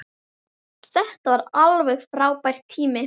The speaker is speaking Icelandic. Þetta var alveg frábær tími.